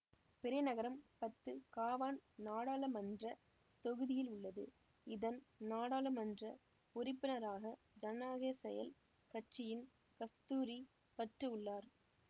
பிறை நகரம் Batu Kawan நாடாளுமன்ற தொகுதியில் உள்ளது இதன் நாடாளுமன்ற உறுப்பினராக ஜனநாயக செயல் கட்சியின் கஸ்தூரி பட்டு உள்ளார்